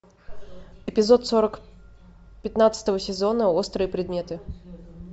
эпизод сорок пятнадцатого сезона острые предметы